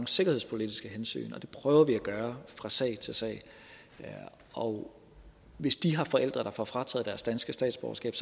sikkerhedspolitiske hensyn og det prøver vi at gøre fra sag til sag og hvis de her forældre får frataget deres danske statsborgerskab